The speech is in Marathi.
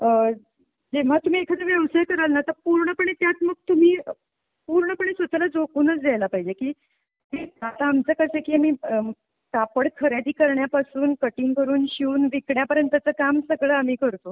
आह जेव्हा तुम्ही एखादा व्यवसाय कराल ना आता पूर्णपणे त्यात मग तुम्ही पूर्णपणे स्वतःला झोकूनच द्यायला पाहिजे की आता आमचं कसं आहे की मी कापड खरेदी करण्यापासून कटिंग करून शिवून विकण्यापर्यंतचं काम सगळं आम्ही करतो.